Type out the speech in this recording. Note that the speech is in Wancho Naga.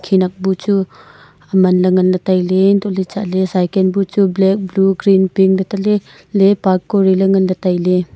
ni nak bu chu aman ley nganley tailey hantohley chatley cycle bu chu black blue green pink taley taley park kuriley tailey.